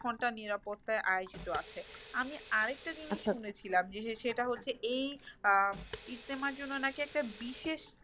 ঘন্টা নিরাপত্তায় আয়োজিত আছে। আমি আরেকটা জিনিস শুনেছিলাম যে সেটা হচ্ছে এই আহ ইস্তেমার জন্য নাকি একটা বিশেষ